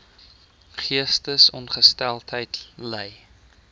geestesongesteldheid ly